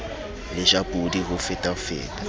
le ja podi ho fetafeta